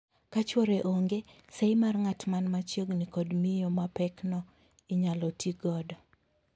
Ka chwore onge, seyi mar ng'at man ma chiegni kod miyo mapekno inyal tii godo.